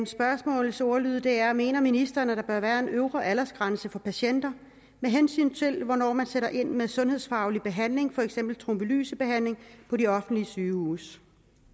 spørgsmålets ordlyd er mener ministeren at der bør være en øvre aldersgrænse for patienter med hensyn til hvornår man skal sætte ind med sundhedsfaglig behandling for eksempel trombolysebehandling på de offentlige sygehuse